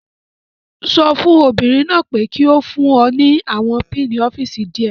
Sọ fún obìnrin náà pé kí ó fún ọ ní àwọn pinni ọ́fíìsì díẹ̀.